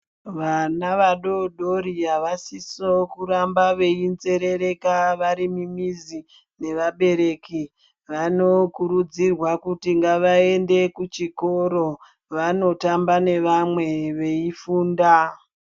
Vana vadodori havasiso kuramba veinzerereka varimimizi nevabereki. Vanokurudzirwa kuti ngavaende kuchikoro vanotamba nevamwe veifunda.